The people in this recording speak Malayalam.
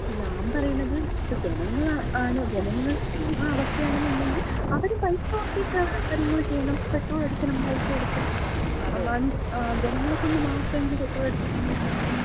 ഞാമ്പറയണത് ഇപ്പം ജനങ്ങളാണ്, ജനങ്ങൾക്കും ആ അവസ്ഥയാണെന്നൊണ്ടെങ്കില് അവരും പൈസ കൊടുക്കണം, പൈസ കൊടുത്ത് കാര്യങ്ങൾ ചെയ്യണം, പെട്രോൾ അടിക്കണം പൈസ കൊടുത്ത്. ജനങ്ങളെ കൊണ്ട് മാത്രം ഇങ്ങനെ പെട്രോളടിപ്പിക്കുന്നതെന്തിനാണ്?